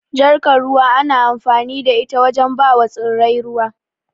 Jarkar ruwa ana amfani da ita wajen bawa tsirrai ruwa.